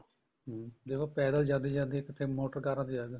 ਹਮ ਦੇਖੋ ਪੈਦਲ ਜਾਂਦੇ ਜਾਂਦੇ ਕਿੱਥੇ ਮੋਟਰ ਕਾਰਾ ਤੇ ਆ ਗਏ